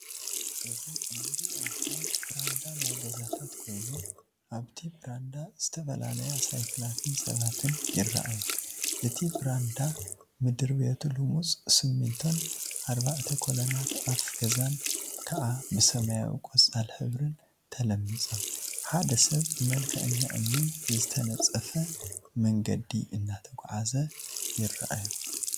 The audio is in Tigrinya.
እዚ እንሪኦ ምስሊ ብራንዳ ናይ ገዛታት ኮይኑ፣ አብቲ ብራንዳ ዝተፈላለያ ሳይክላትን ሰባን ይርአዩ፡፡ እቲ ብራንዳ ምድብሬቱ ሉሙፅ ስሚንቶን አርባዕተ ኮሎናት አፍ ገዛን ከዓ ብሰማያዊን ቆፃላ ሕብሪን ተለሚፆም፡፡ ሓደ ሰብ ብመልክዐኛ እምኒ ዝተነፀፈ መንገዲ እናተጓዓዘ ይርአዩ፡፡